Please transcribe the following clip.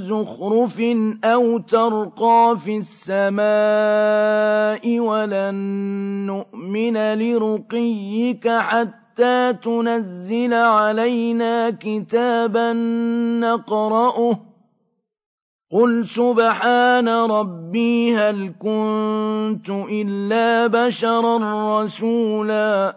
زُخْرُفٍ أَوْ تَرْقَىٰ فِي السَّمَاءِ وَلَن نُّؤْمِنَ لِرُقِيِّكَ حَتَّىٰ تُنَزِّلَ عَلَيْنَا كِتَابًا نَّقْرَؤُهُ ۗ قُلْ سُبْحَانَ رَبِّي هَلْ كُنتُ إِلَّا بَشَرًا رَّسُولًا